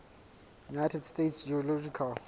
united states geological